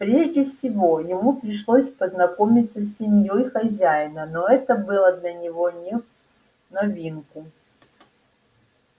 прежде всего ему пришлось познакомиться с семьёй хозяина но это было для него не в новинку